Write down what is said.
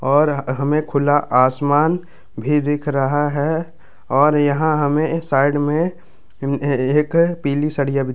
और हमे खुला आसमान भी दिख रहा है और यहाँ हमे साइड में ए एक पीली सरियाँ भी --